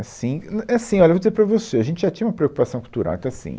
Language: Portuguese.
Assim, é é, assim, olha, eu vou dizer para você, a gente já tinha uma preocupação cultural, então assim